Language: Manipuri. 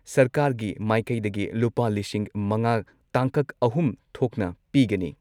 ꯁꯔꯀꯥꯔꯒꯤ ꯃꯥꯏꯀꯩꯗꯒꯤ ꯂꯨꯄꯥ ꯂꯤꯁꯤꯡ ꯃꯉꯥ ꯇꯥꯡꯀꯛ ꯑꯍꯨꯝ ꯊꯣꯛꯅ ꯄꯤꯒꯅꯤ꯫